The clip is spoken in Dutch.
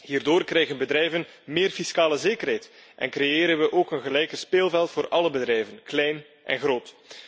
Hierdoor krijgen bedrijven meer fiscale zekerheid en creëren we ook een gelijker speelveld voor alle bedrijven, klein en groot.